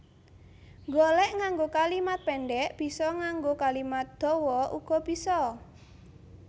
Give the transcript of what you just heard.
Nggolék nganggo kalimat péndhek bisa nganggo kalimat dawa uga bisa